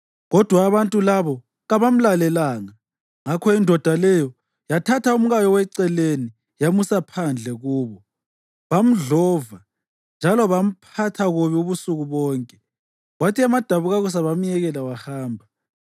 Kodwa abantu labo kabamlalelanga. Ngakho indoda leyo yathatha umkayo weceleni yamusa phandle kubo, bamdlova njalo bamphatha kubi ubusuku bonke, kwathi emadabukakusa bamyekela wahamba.